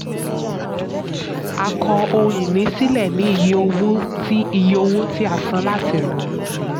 a kọ ohun-ìní sílẹ̀ ní iye owó tí iye owó tí a san láti rà á.